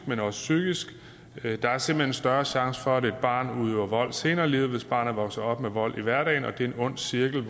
men også psykisk der er simpelt hen større chance for at et barn udøver vold senere i livet hvis barnet vokser op med vold i hverdagen det er en ond cirkel